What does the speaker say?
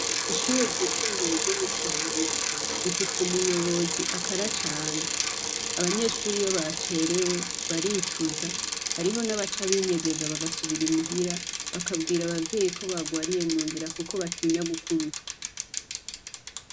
Ishure ryisumbuye ryo mu Kibenga rifise umuyobozi akara cane. Abanyeshure iyo bacerewe baricuza. Hariho n'abaca binyegeza bagasubira i muhira, bakabwira abavyeyi ko bagwariye munzira kuko batinya gukubitwa.